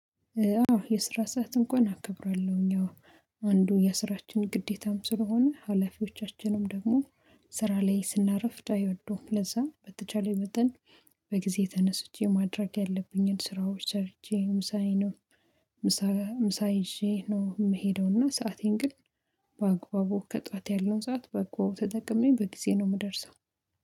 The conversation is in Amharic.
የስራ ሰዓት እንኳን አከብራለሁኝ። አንዱ የስራችን ግዴታም ስለሆነ ሀላፊዎቻችንም ደግሞ ስራ ላይ ስናርፍ አይወደውም ለዛ በተቻለኝ መጠን በጊዜ ተነስቼ ማድረግ ያለብኝን ስራዎች ሰርቼ ምሳዬ ነው። ምሳ ምሳ ይዤ ነው የምሄደው እና ሰአቴን ግን በአግባቡ ከጠዋት ያለው ሰዓት በአግባቡ ተጠቅሜ በጊዜ ነው የምደርሰው